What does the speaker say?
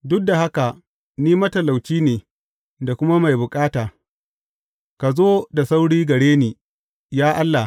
Duk da haka ni matalauci ne da kuma mai bukata; ka zo da sauri gare ni, ya Allah.